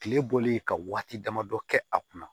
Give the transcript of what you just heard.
Kile bɔli ka waati damadɔ kɛ a kunna